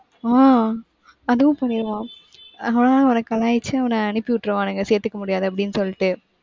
ஆஹ் அதுவும் பண்ணிருவான். ஆனா அவன கலாய்ச்சு, அவன அனுப்பி விட்டுருவானுங்க, சேர்த்துக்க முடியாது, அப்படின்னு சொல்லிட்டு